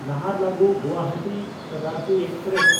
ᱱᱟᱦᱟᱨᱞᱟᱜᱩᱱ–ᱜᱩᱣᱟᱦᱟᱴᱤ Shatabdi express